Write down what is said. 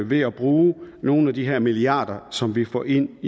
ved at bruge nogle af de her milliarder som vi får ind